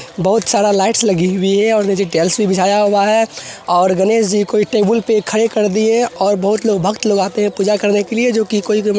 बहुत सारा लाइट्स लगी हुई है और टाइल्स भी बिछाया हुआ है और गणेश जी कोई टेबल पर खड़े कर दिए और बहोत लोग भक्त लोग आते हैं पूजा करने के लिए जो कि कोई --